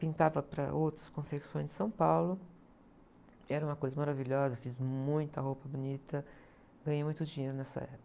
Pintava para outras confecções de São Paulo, era uma coisa maravilhosa, fiz muita roupa bonita, ganhei muito dinheiro nessa época.